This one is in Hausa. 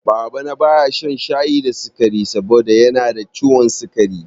Baba na baya shan shayi da sikari saboda yanada ciwon sikari